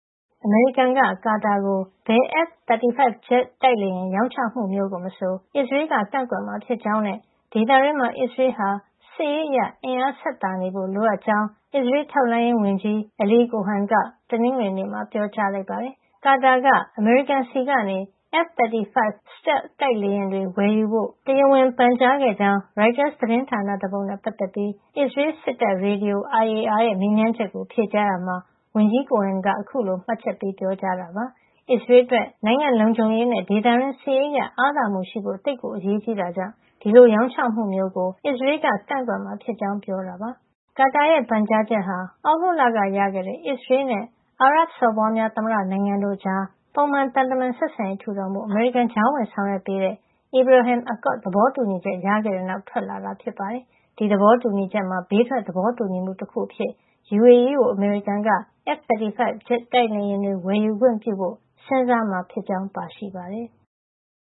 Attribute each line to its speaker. Speaker 1: အမေရိကန်က ကာတာကို ဘယ် F-35 ဂျက်တိုက်လေယာဉ် ရောင်းချမှုမျိုးကိုမဆို အစ္စရေးလ်က ကန့်ကွက်မှာဖြစ်ကြောင်းနဲ့ ဒေသတွင်းမှာ အစ္စရေးလ်ဟာ စစ်ရေးအရ ဆက်သာနေဖို့ လိုအပ်ကြောင်း အစ္စရေးလ် ထောက်လှမ်းရေးဝန်ကြီး Eli Cohen က တနင်္ဂနွေနေ့မှာ ပြောကြားလိုက်ပါတယ်။ ကာတာက အမေရိကန်ဆီကနေ F-35 Stealth တိုက်လေယာဉ်တွေ ဝယ်ယူဖို့ တရားဝင်ပန်ကြားခဲ့ကြောင်း ရိုက်တာသတင်းတပုဒ်နဲ့ ပတ်သက်ပြီး အစ္စရေးလ်စစ်တပ်ရေဒီယို IAR ရဲ့ မေးမြန်းချက်ကို ဖြေကြားရာမှာ ဝန်ကြီး Cohen က အခုလို မှတ်ချက်ပေး ပြောကြားခဲ့တာ ဖြစ်ပါတယ်။ အစ္စရေးလ်အတွက် နိုင်ငံ့လုံခြုံရေးနဲ့ ဒေသတွင်း စစ်ရေးအရ အားသာမှုရှိဖို့ သိပ်ကိုအရေးကြီးတဲ့အတွက် ဒီလိုရောင်းချမှုမျိုးကို အစ္စရေးလ်က ကန့်ကွက်မှာဖြစ်ကြောင်း ပြောကြားခဲ့တာပါ။ ကာတာရဲ့ ပန်ကြားချက်ဟာ သြဂုတ်လက ရရှိခဲ့တဲ့ အစ္စရေးလ်နဲ့ UAE အာရပ်စော်ဘွားများ သမ္မတနိုင်ငံတို့ကြား ပုံမှန် သံတမန်ဆက်ဆံရေး ထူထောင်ဖို့ အမေရိကန်က ကြားဝင်ဆောင်ရွက်ပေးခဲ့တဲ့ Abraham Accord သဘောတူညီချက် ရခဲ့တဲ့နောက်မှာ ထွက်လာတာဖြစ်ပြီး ဒီသဘောတူညီချက်မှာ ဘေးထွက် သဘောတူညီမှုတခုအဖြစ် UAE ကို အမေရိကန်က F-35 ဂျက်တိုက်လေယာဉ်တွေ ဝယ်ယူခွင့်ပြုဖို့ စဉ်းစားမှာဖြစ်ကြောင်း ပါရှိပါတယ်။